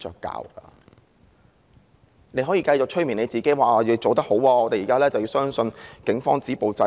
她可以繼續催眠自己，說自己做得很好，現時要相信警方能夠止暴制亂。